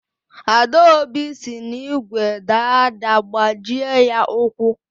Adaobi si n’igwe daa ada gbajie ya ụkwụ